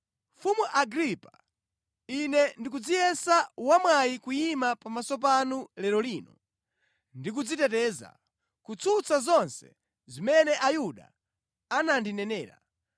“Mfumu Agripa ine ndikudziyesa wa mwayi kuyima pamaso panu lero lino ndi kudziteteza, kutsutsa zonse zimene Ayuda andinenera,